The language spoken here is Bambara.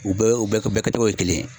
U bɛɛ ye u bɛ kɛ togo ye kelen ye.